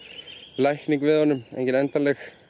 lækning við honum engin endanleg